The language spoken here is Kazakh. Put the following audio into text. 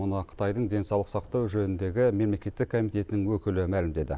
мұны қытайдың денсаулық сақтау жөніндегі мемлекеттік комитетінің өкілі мәлімдеді